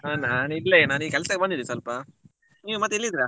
ಹಾ ನಾನ್ ಇಲ್ಲೇ ನಾನ್ ಇಲ್ಲಿ ಕೆಲ್ಸಕ್ಕೆ ಬಂದಿದ್ದೆ ಸ್ವಲ್ಪ ನೀವು ಮತ್ತೆ ಎಲ್ಲಿದ್ದೀರಾ?